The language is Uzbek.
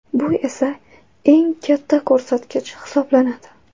Bu esa eng katta ko‘rsatkich hisoblanadi.